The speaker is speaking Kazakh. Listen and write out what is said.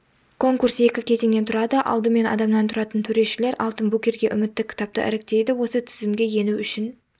конкурс екі кезеңнен тұрады алдымен адамнан тұратын төрешілер алтын букерге үмітті кітапты іріктейді осы тізімге ену үшін